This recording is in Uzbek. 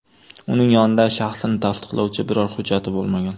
Uning yonida shaxsini tasdiqlovchi biror hujjati bo‘lmagan.